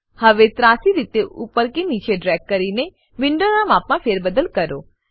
હવે ત્રાસી રીતે ઉપર કે નીચે ડ્રેગ કરીને વિન્ડોનાં માપમાં ફેરબદલ કરો